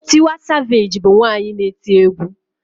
Tiwa savage bu nwanyi na-eti egwu